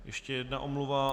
Ještě jedna omluva.